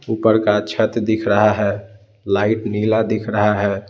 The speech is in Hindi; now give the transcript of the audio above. ऊपर का छत दिख रहा है लाइट नीला दिख रहा है।